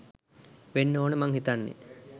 වෙන්න ඕන මං හිතන්නේ!